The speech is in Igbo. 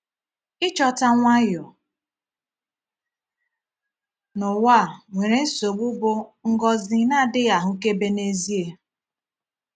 Ịchọta nwayọ n’ụwa a nwere nsogbu bụ ngọzi na-adịghị ahụkebe n’ezie.